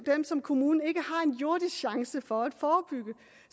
som kommunen ikke har en jordisk chance for at forebygge